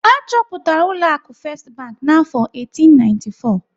Achọpụtara ụlọ akụ First Bank n'afọ 1894.